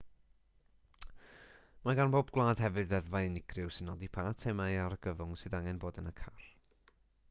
mae gan bob gwlad hefyd ddeddfau unigryw sy'n nodi pa eitemau argyfwng sydd angen bod yn y car